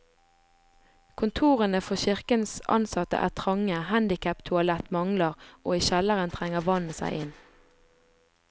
Kontorene for kirkens ansatte er trange, handicaptoalett mangler, og i kjelleren trenger vannet seg inn.